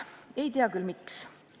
Ei tea küll, miks.